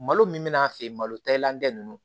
Malo min bɛna'a feere malo ta elankɛ nunnu